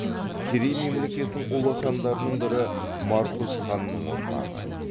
керей мемлекетінің ұлы хандарының бірі марқұз ханның ұрпағы